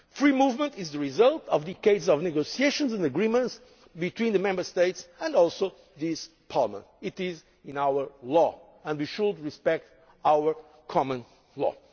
Free movement is the result of decades of negotiations and agreements between the Member States and also this Parliament. It is in our law, and we should respect our common